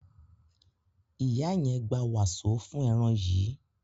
ìyá yen gbà waso fún èràn yí.